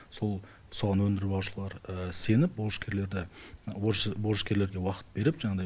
сол соған өндіріп алушылар сеніп борышкерлерге уақыт беріп жаңағыдай